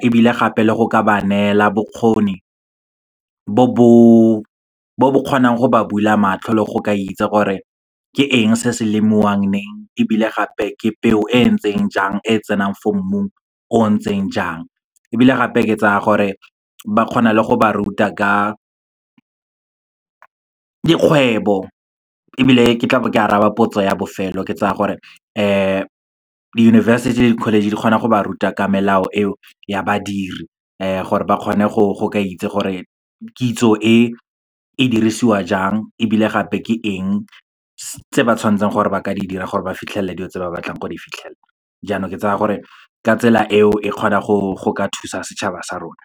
ebile gape le go ka ba neela bokgoni bo bo kgonang go ba bula matlho le go ka itse gore ke eng se se lemiwang leng, ebile gape ke peo e ntseng jang e tsenang for mmung o o ntseng jang. Ebile gape, ke tsaya gore ba kgona le go ba ruta ka dikgwebo. Ebile ke tla be ke araba potso ya bofelo, ke tsaya gore di-university le di-college di kgona go ba ruta ka melao eo ya badiri gore ba kgone go itse gore kitso e e dirisiwa jang, ebile gape ke eng tse ba tshwantseng gore ba ka di dira gore ba fitlhelela dilo tse ba batlang go di fitlhelela. Jaanong ke tsaya gore ka tsela eo, e kgona go ka thusa setšhaba sa rona.